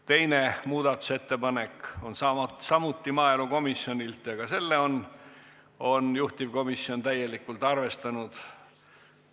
Teine muudatusettepanek on samuti maaelukomisjonilt ja ka seda on juhtivkomisjon täielikult arvestanud.